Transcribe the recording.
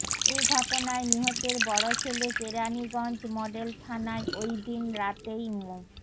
এই ঘটনায় নিহতের বড়ো ছেলে কেরানীগঞ্জ মডেল থানায় ওই দিন রাতেই মো